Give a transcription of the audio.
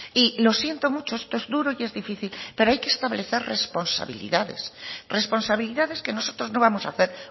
y lo siento mucho esto es duro y es difícil pero hay que establecer responsabilidades responsabilidades que nosotros no vamos a hacer